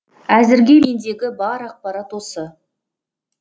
әзірге мендегі бар ақпарат осы